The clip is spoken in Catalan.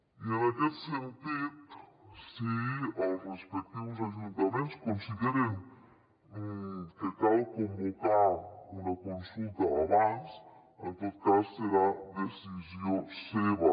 i en aquest sentit si els respectius ajuntaments consideren que cal convocar una consulta abans en tot cas serà decisió seva